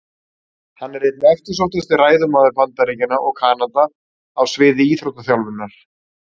Hann er einn eftirsóttasti ræðumaður Bandaríkjanna og Kanada á sviði íþróttaþjálfunar.